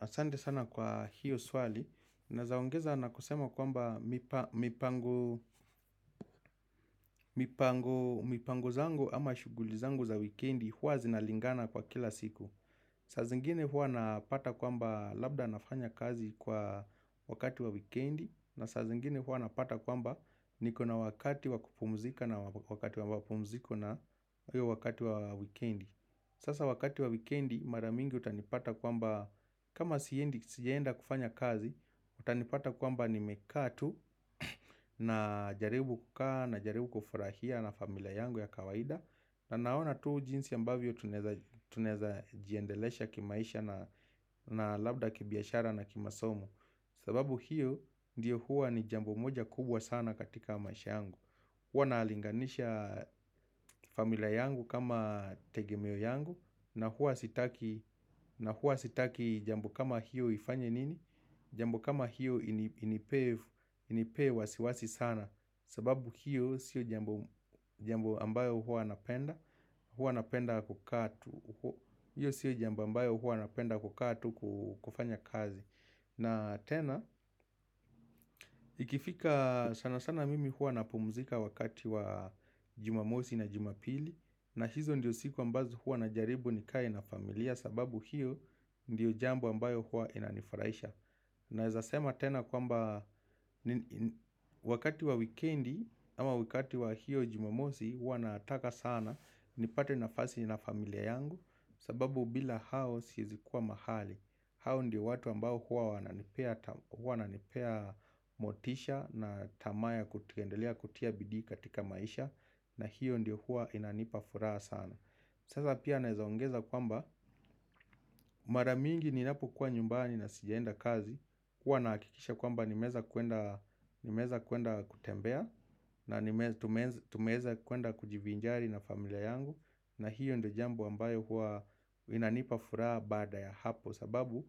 Asante sana kwa hiyo swali, nazaongeza na kusema kwamba mipango zangu ama shughuli zangu za wikendi huwa zinalingana kwa kila siku. Saa zingine huwa napata kwamba labda nafanya kazi kwa wakati wa wikendi, na saa zingine huwa napata kwamba niko na wakati wa kupumzika na wakati wa wapumziko na wakati wa wikendi. Sasa wakati wa wikendi mara mingi utanipata kwamba kama sienda kufanya kazi utanipata kwamba nimekaa tu najarabu kukaa najarabu kufurahia na familia yangu ya kawaida na naona tuu jinsi ambavyo tuneza jiendelesha kimaisha na labda kibiashara na kimasomo sababu hiyo ndiyo huwa ni jambo moja kubwa sana katika maisha yangu Huwa naalinganisha familia yangu kama tegemeo yangu na huwa sitaki jambo kama hiyo ifanye nini? Jambo kama hiyo inipee wasiwasi sana sababu hiyo sio jambo ambayo huwa napenda kukaa tu kufanya kazi. Na tena, ikifika sana sana mimi huwa napumzika wakati wa jumamosi na jumapili na hizo ndiyo siku ambazo huwa najaribu nikae na familia sababu hiyo ndiyo jambo ambayo huwa inanifuraisha Naezasema tena kwamba wakati wa wikendi ama wakati wa hiyo jumamosi huwa naataka sana nipate nafasi na familia yangu sababu bila hao siezi kuwa mahali hao ndiyo watu ambao huwa wananipea motisha na tamaa ya kutikendelea kutia bidii katika maisha na hiyo ndiyo huwa inanipafuraa sana. Sasa pia naezaongeza kwamba mara mingi ninapo kwa nyumbani na sijaenda kazi. Huwa nakikisha kwamba nimeza kuenda kutembea na tumeza kuenda kujivinjari na familia yangu na hiyo ndiyo jambo ambayo huwa inanipafuraa baada ya hapo. Kwa sababu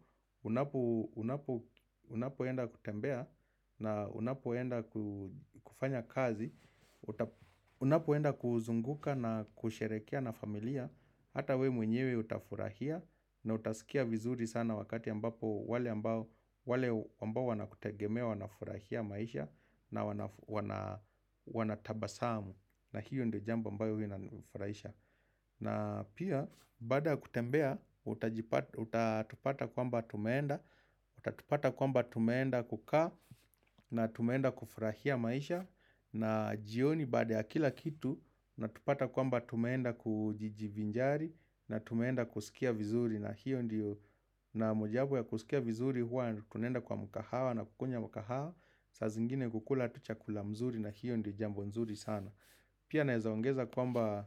unapoenda kutembea na unapoenda kufanya kazi Unapoenda kuzunguka na kusherekea na familia Hata we mwenyewe utafurahia na utasikia vizuri sana wakati ambapo wale ambao wanakutegemea wanafurahia maisha na wanatabasamu na hiyo ndo jambo ambayo winafurahisha na pia bada ya kutembea, utatupata kwamba tumeenda, utatupata kwamba tumeenda kukaa na tumeenda kufurahia maisha na jioni baada ya kila kitu, natupata kwamba tumeenda kujijivinjari na tumeenda kuskia vizuri na mojabu ya kusikia vizuri huwa tunenda kwa mukahawa na kukunya mukahawa Sazingine kukula tu chakula mzuri na hiyo ndo jambo mzuri sana Pia naezaongeza kwamba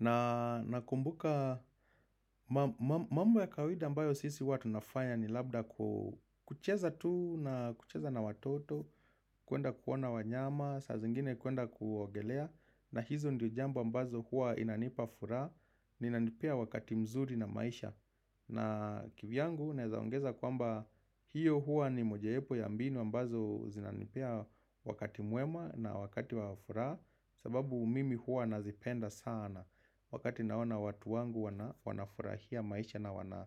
na kumbuka mambo ya kawida ambayo sisi huwa tunafanya ni labda kucheza tu na kucheza na watoto kuenda kuona wanyama, saa zingine kuenda kuogelea na hizo ndio jambo ambazo huwa inanipa furaha, na nipea wakati mzuri na maisha na kivyangu naezaongeza kwamba hiyo hua ni mojaepo ya mbini ambazo zinanipia wakati mwema na wakati wafura sababu mimi huwa nazipenda sana wakati naona watu wangu wanafurahia maisha na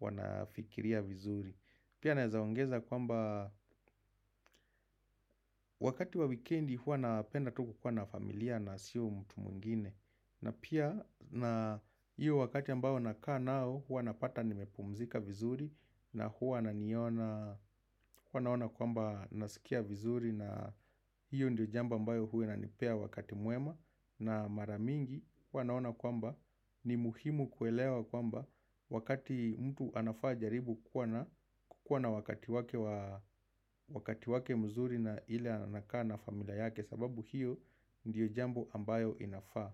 wanafikiria vizuri pia naezaongeza kwamba wakati wa wikendi huwa napenda tu kukuwa na familia na si mtu mwingine na pia na hiyo wakati ambao nakaa nao huwa napata nimepumzika vizuri na huwa ananiona huwa naona kwamba naskia vizuri na hiyo ndio jambo ambayo huwa inanipea wakati mwema na mara mingi wanaona kwamba ni muhimu kuelewa kwamba wakati mtu anafaa jaribu kukwa na wakati wake mzuri na ile anakaa na familia yake sababu hiyo ndiyo jambo ambayo inafaa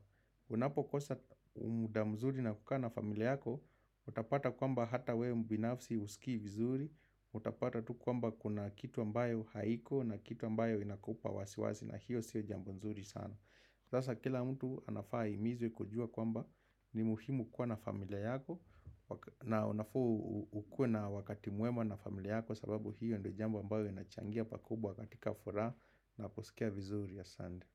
Unapokosa umuda mzuri na kukaa na familia yako, utapata kwamba hata we mbinafsi usiki vizuri Utapata tu kwamba kuna kitu ambayo haiko na kitu ambayo inakupa wasiwasi na hiyo sio jambo mzuri sana sasa kila mtu anafaa aimizwe kujua kwamba ni muhimu kuwa na familia yako na unafu ukue na wakati mwema na familia yako sababu hiyo ndo jambo ambayo inachangia pakubwa katika furaa naposikia vizuri asande.